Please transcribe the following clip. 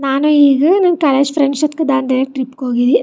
ನಾನು ಈಗ ನನ್ನ ಕಾಲೇಜ್ ಫ್ರೆಂಡ್ಸ್ ಜೋತ್ಗ್ ದಾಂಡೇಲಿ ಟ್ರಿಪ್ ಗೆ ಹೋಗಿದ್ದೆ.